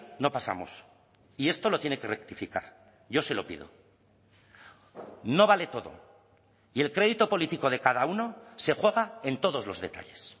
no pasamos y esto lo tiene que rectificar yo se lo pido no vale todo y el crédito político de cada uno se juega en todos los detalles